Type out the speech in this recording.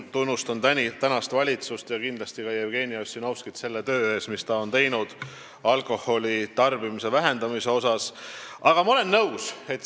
Ma tunnustan igal juhul valitsust ja kindlasti ka Jevgeni Ossinovskit selle töö eest, mida ta on teinud alkoholitarbimise vähendamise nimel.